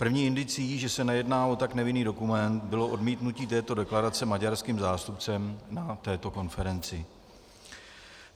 První indicií, že se nejedná o tak nevinný dokument, bylo odmítnutí této deklarace maďarským zástupcem na této konferenci.